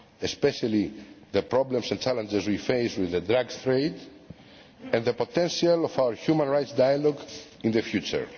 especially the problems and challenges we face with the drugs trade and the potential of our human rights dialogue in the future.